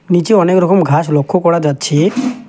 নীচে অনেক রকম ঘাস লক্ষ্য করা যাচ্ছে।